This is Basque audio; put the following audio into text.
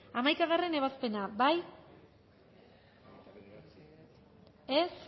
hamaikagarrena ebazpena bozkatu dezakegu